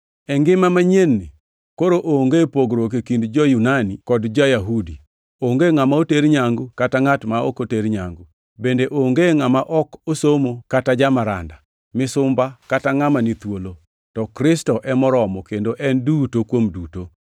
E ngima manyien-ni, koro onge pogruok e kind ja-Yunani kod ja-Yahudi, onge ngʼama oter nyangu kata ngʼat ma ok oter nyangu, bende onge ngʼama ok osomo kata jamaranda, misumba kata ngʼama ni thuolo, to Kristo e moromo kendo en duto kuom duto.